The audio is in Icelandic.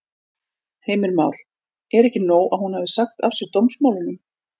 Heimir Már: Er ekki nóg að hún hafi sagt af sér dómsmálunum?